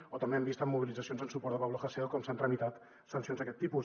o també hem vist en mobilitzacions en suport a pablo hasél com s’han tramitat sancions d’aquest tipus